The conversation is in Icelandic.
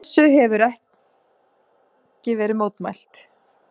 Þessu hefir ekki verið mótmælt.